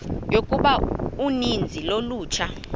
yokuba uninzi lolutsha